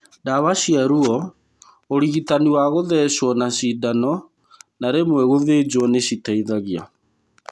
Ndawa cia ruo, ũrigitani wa gũthecwo na cindano na rĩmwe gũthĩnjwo nĩ citeithagia.